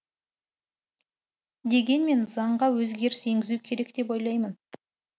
дегенмен заңға өзгеріс енгізу керек деп ойлаймын